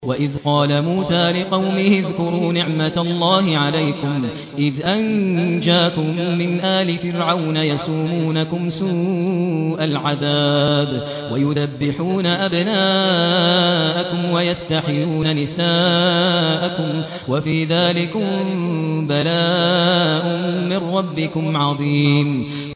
وَإِذْ قَالَ مُوسَىٰ لِقَوْمِهِ اذْكُرُوا نِعْمَةَ اللَّهِ عَلَيْكُمْ إِذْ أَنجَاكُم مِّنْ آلِ فِرْعَوْنَ يَسُومُونَكُمْ سُوءَ الْعَذَابِ وَيُذَبِّحُونَ أَبْنَاءَكُمْ وَيَسْتَحْيُونَ نِسَاءَكُمْ ۚ وَفِي ذَٰلِكُم بَلَاءٌ مِّن رَّبِّكُمْ عَظِيمٌ